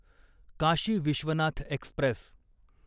Kashi Vishwanath Express